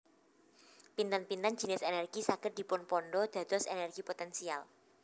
Pinten pinten jinis energi saged dipunpandha dados energi potensial